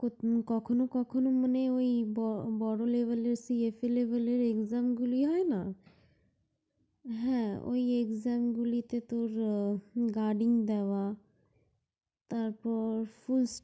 কখনো কখনো মানে ঐ বড় level এর CSA level এর exam গুলিতে হয় না? হ্যাঁ ঐ exam গুলিতে তোর guiding দেওয়া, তারপর